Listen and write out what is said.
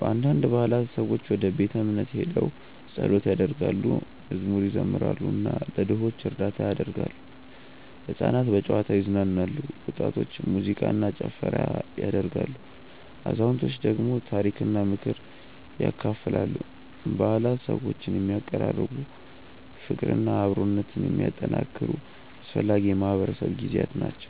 በአንዳንድ በዓላት ሰዎች ወደ ቤተ እምነት ሄደው ጸሎት ያደርጋሉ፣ መዝሙር ይዘምራሉ እና ለድሆች እርዳታ ያደርጋሉ። ሕፃናት በጨዋታ ይዝናናሉ፣ ወጣቶች ሙዚቃ እና ጭፈራ ያደርጋሉ፣ አዛውንቶች ደግሞ ታሪክና ምክር ያካፍላሉ። በዓላት ሰዎችን የሚያቀራርቡ፣ ፍቅርና አብሮነትን የሚያጠናክሩ አስፈላጊ የማህበረሰብ ጊዜያት ናቸው።